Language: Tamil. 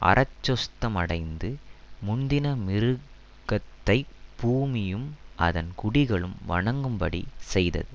அறச்சொஸ்தமடைந்த முந்தின மிருகத்தைப் பூமியும் அதன் குடிகளும் வணங்கும்படி செய்தது